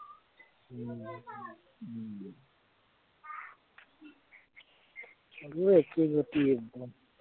মোৰো একেই গতি একদম।